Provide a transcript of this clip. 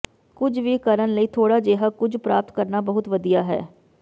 ਕੁਝ ਵੀ ਕਰਨ ਲਈ ਥੋੜਾ ਜਿਹਾ ਕੁਝ ਪ੍ਰਾਪਤ ਕਰਨਾ ਬਹੁਤ ਵਧੀਆ ਹੈ